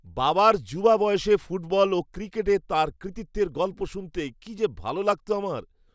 বাবার যুবা বয়সে ফুটবল ও ক্রিকেটে তাঁর কৃতিত্বের গল্প শুনতে কি যে ভালো লাগতো আমার।